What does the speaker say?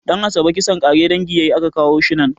Ɗan'asabe kisan ƙare dangi yayi a ka kawo shi nan